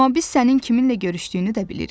Amma biz sənin kiminlə görüşdüyünü də bilirik.